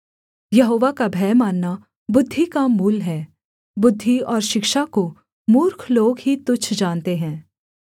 यहोवा का भय मानना बुद्धि का मूल है बुद्धि और शिक्षा को मूर्ख लोग ही तुच्छ जानते हैं